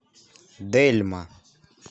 дельма